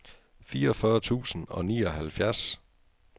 fireogfyrre tusind og nioghalvfjerds